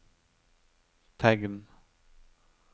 tegn